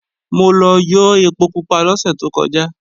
Mo lọ yó ẹpo pupa lọ́sẹ̀ tó kọjá